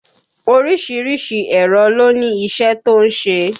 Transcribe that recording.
Orísìírísìí èrò ló ní iṣẹ́ tó ń ṣe